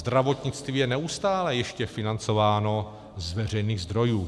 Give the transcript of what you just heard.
Zdravotnictví je neustále ještě financováno z veřejných zdrojů.